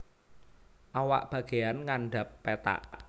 Awak bagéyan ngandhap pethak